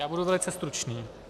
Já budu velice stručný.